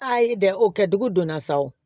Ayi dɛ o kɛ dugu donna sa o